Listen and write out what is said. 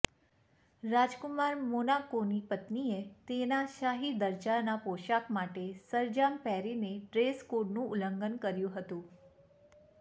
રાજકુમાર મોનાકોની પત્નીએ તેના શાહી દરજ્જાના પોશાક માટે સરંજામ પહેરીને ડ્રેસ કોડનું ઉલ્લંઘન કર્યું હતું